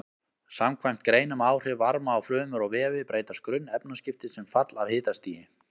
Samkvæmt grein um áhrif varma á frumur og vefi breytast grunnefnaskipti sem fall af hitastigi.